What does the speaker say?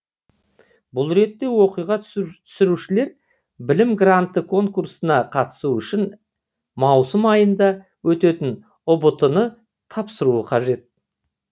бұл ретте оқуға түсушілер білім гранты конкурсына қатысу үшін маусым айында өтетін ұбт ны тапсыруы қажет